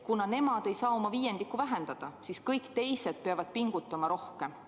Kuna nemad ei saa oma kontakte viiendiku võrra vähendada, siis kõik teised peavad pingutama rohkem.